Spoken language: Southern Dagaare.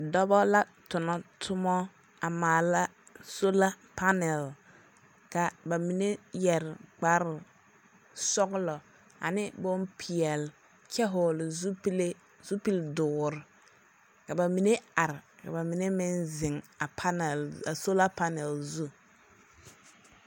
Dͻbͻ la tonͻ toma a maala sola panԑl. ka ba mine yԑre kpare sͻgelͻ ane bompeԑle, kyԑ vͻgele zupile zupili dõõre. Ka ba mine are ka ba mine meŋ zeŋ a panԑl a sola panԑl zu.